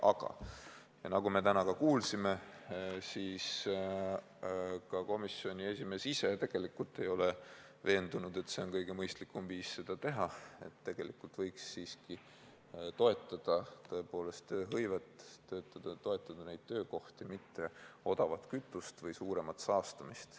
Aga nagu me täna kuulsime, ka komisjoni esimees ise ei ole veendunud, et see on kõige mõistlikum viis seda teha, et tegelikult võiks siiski toetada tõepoolest tööhõivet, toetada neid töökohti, mitte odavat kütust või suuremat saastamist.